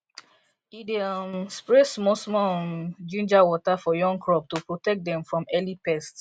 e dey um spray smallsmall um ginger water for young crop to protect dem from early pest